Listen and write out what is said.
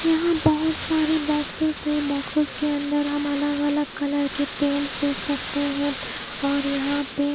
यहां बहोत सारी बॉक्सेस हैं बॉक्सेस के अंदर हम अलग अलग कलर के पेंट्स देख सकते हैं और यहां पे--